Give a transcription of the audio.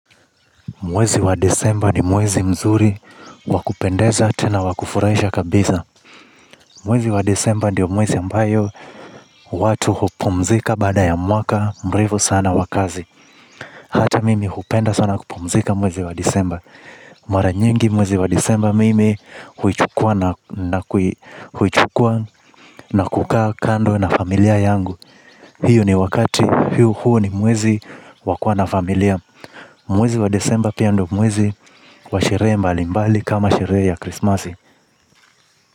Mwezi wa Desemba ni mwezi mzuri, wa kupendeza tena wa kufurahisha kabisa. Mwezi wa Desemba ndio mwezi ambayo watu hupumzika baada ya mwaka mrefy sana wa kazi. Hata mimi hupenda sana kupumzika mwezi wa desemba. Mara nyingi mwezi wa Desemba mimi huichukua na kukaa kando na familia yangu. Hio ni wakati. Huo ni mwezi wa kuwa na familia. Mwezi wa Desemba pia ndio mwezi wa sherehe mbali mbali kama sherehe ya krismasi.